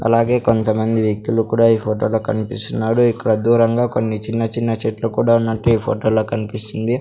అలాగే కొంత మంది వ్యక్తులు కూడా ఈ ఫోటోలో కనిపిస్తున్నాడు ఇక్కడ దూరంగా కొన్ని చిన్న చిన్న చెట్లు కూడ ఉన్నట్టు ఈ ఫోటో లో కనిపిస్తుంది.